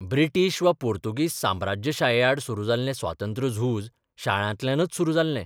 British वा पोर्तुगीज साम्राज्यशायेआड सुरू जाल्लें स्वातंत्र्यझूज शाळांतल्यानच सुरू जाल्लें.